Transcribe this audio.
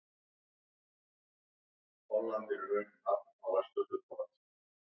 Frímann og Benedikt höfðu hlaupið hvor í sína áttina og horfið inn í reykmökkinn.